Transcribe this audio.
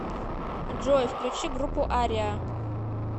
джой включи группу ариа